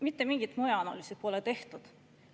Mitte mingit mõjuanalüüsi pole tehtud.